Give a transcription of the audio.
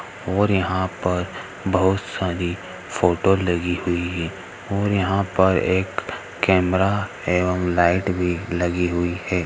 --और यहां पर बहुत सारी फोटो लगी हुई है और यहां पर एक कैमरा है और लाईट भी लगी हुई है।